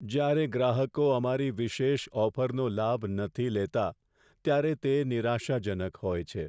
જ્યારે ગ્રાહકો અમારી વિશેષ ઓફરનો લાભ નથી લેતા, ત્યારે તે નિરાશાજનક હોય છે.